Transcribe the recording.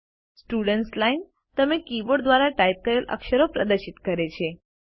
students line તમે keyboard દ્વારા type કરેલ અક્ષરો પ્રદર્શિત કરે છે